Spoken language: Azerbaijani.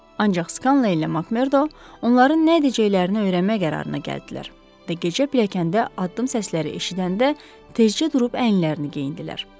Ancaq Scanleylə MacMurdo onların nə edəcəklərini öyrənmək qərarına gəldilər və gecə pilləkəndə addım səsləri eşidəndə tezcə durub əyinlərini geyindilər.